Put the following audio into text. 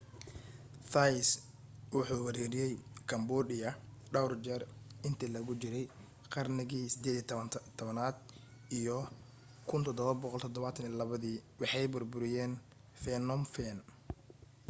thais wuxuu weeraray cambodia dhawr jeer intii lagu jiray qarnigii 18aad iyo 1772 waxay burburiyeen phnom phen